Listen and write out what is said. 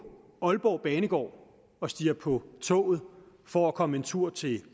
aalborg banegård og stiger på toget for at komme en tur til